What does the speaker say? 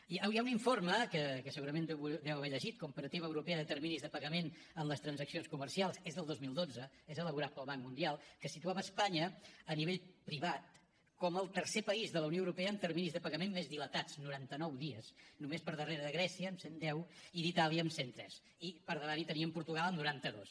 hi ha un informe que segurament deu haver llegit comparativa europea de terminis de pagament en les transaccions comercials és del dos mil dotze és elaborat pel banc mundial que situava espanya a nivell privat com el tercer país de la unió europea amb terminis de pagament més dilatats noranta nou dies només per darrere de grècia amb cent deu i d’itàlia amb cent tres i per davant hi teníem portugal amb noranta dos